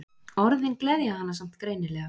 Orðin gleðja hana samt greinilega.